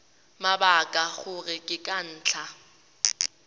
mabaka gore ke ka ntlha